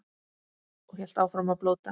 Og hélt áfram að blóta.